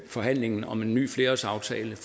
forhandlingen om en ny flerårsaftale